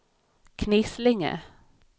Knislinge